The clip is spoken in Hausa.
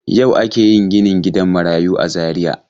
Yau ake yin ginin gidan marayu a Zariya.